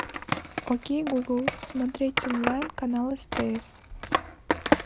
окей гугл смотреть онлайн канал стс